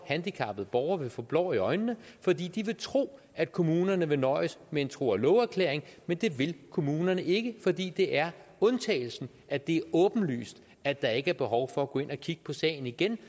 handicappede borgere vil få stukket blår i øjnene fordi de vil tro at kommunerne vil nøjes med en tro og love erklæring men det vil kommunerne ikke fordi det er undtagelsen at det er åbenlyst at der ikke er behov for at gå ind og kigge på sagen igen